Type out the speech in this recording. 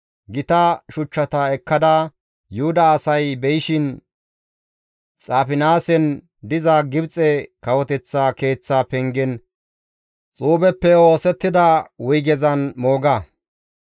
«Gita shuchchata ekkada Yuhuda asay be7ishin Xaafinaasen diza Gibxe kawoteththa keeththa pengen xuubeppe oosettida wuygezan mooga.